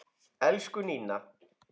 Elsku Nína.